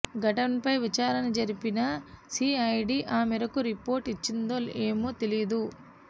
ఘటనపై విచారణ జరిపిన సిఐడి ఆ మేరకు రిపోర్టు ఇచ్చిందో ఏమో తెలీదు